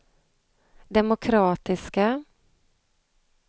demokratiska